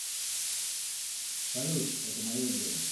салют это мое дело